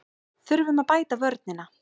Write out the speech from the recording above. Þurfum að bæta vörnina